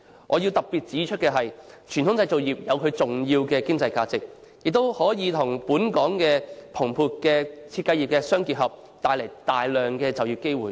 我必須特別指出，傳統製造業有其重要的經濟價值，亦可以與本港日漸蓬勃的設計業互相結合，帶來大量就業機會。